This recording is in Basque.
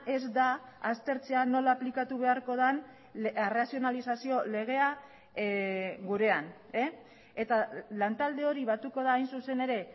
ez da aztertzea nola aplikatu beharko den arrazionalizazio legea gurean eta lantalde hori batuko da hain zuzen ere